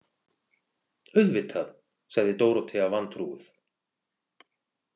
Auðvitað, sagði Dórótea vantrúuð.